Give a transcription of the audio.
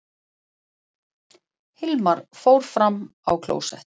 Hilmar fór fram á klósett.